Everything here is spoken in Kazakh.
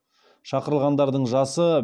шақырылғандардың жасы